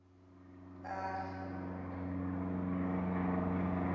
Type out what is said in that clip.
ahi